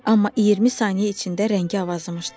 Amma 20 saniyə içində rəngi avazımışdı.